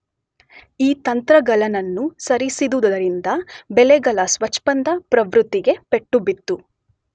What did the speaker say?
ಈ ತಂತ್ರಗಳನ್ನನುಸರಿಸಿದುದರಿಂದ ಬೆಲೆಗಳ ಸ್ವಚ್ಛಂದ ಪ್ರವೃತ್ತಿಗೆ ಪೆಟ್ಟು ಬಿತ್ತು.